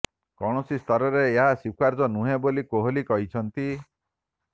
କୌଣସି ସ୍ତରରେ ଏହା ସ୍ୱୀକାର୍ଯ୍ୟ ନୁହେଁ ବୋଲି କୋହଲି କହିଛନ୍ତି